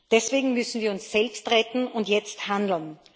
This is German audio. Deswegen müssen wir uns selbst retten und jetzt handeln.